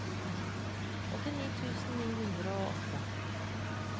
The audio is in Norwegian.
åttini tusen to hundre og åtte